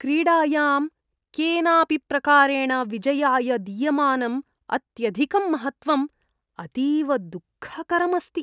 क्रीडायां केनापि प्रकारेण विजयाय दीयमानम् अत्यधिकं महत्त्वम् अतीव दुःखकरम् अस्ति।